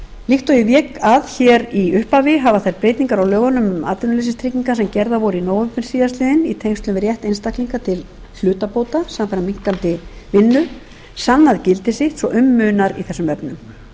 líkt og ég vék að hér í upphafi hafa þær breytingar á lögunum um atvinnuleysistryggingar sem gerðar voru í nóvember síðastliðinn í tengslum við rétt einstaklinga til hlutabóta samfara minnkandi vinnu sannað gildi sitt svo um munar í þessum efnum